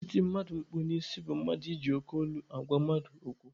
Iti mmadụ mkpu n'isi bụ mmadụ iji oke olu agwa mmadụ okwu.